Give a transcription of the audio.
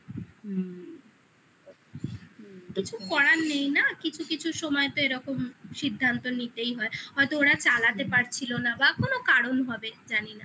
কিছু করার নেই না কিছু কিছু সময় তো এরকম সিদ্ধান্ত নিতেই হয় হয়তো ওরা চালাতে পারছিল না বা কোন কারণ হবে জানি না